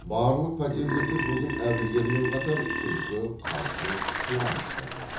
барлық пәтерлерде бүгін әбігермен қатар күлкі қалжың қуаныш та көп